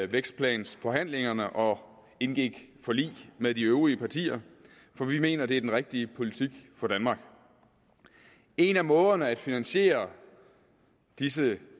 vækstplanforhandlingerne og indgik forlig med de øvrige partier for vi mener at det er den rigtige politik for danmark en af måderne at finansiere disse